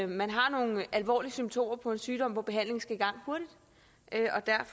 man har nogle alvorlige symptomer på en sygdom hvor behandling skal i gang hurtigt